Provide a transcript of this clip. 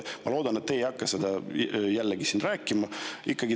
Ma loodan, et te ei hakka jälle seda siin rääkima.